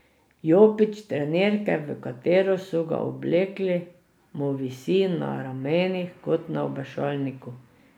Jopič trenirke, v katero so ga oblekli, mu visi na ramenih kot na obešalniku.